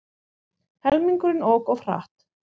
Helmingurinn ók of hratt